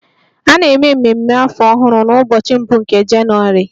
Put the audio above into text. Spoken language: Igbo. A na-eme ememe afọ ọhụrụ n'ụbọchị mbụ nke Jenụwarị